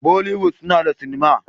Bolliwood una da cinema